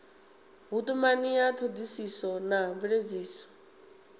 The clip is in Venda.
vhutumani ya thodisiso na mveledziso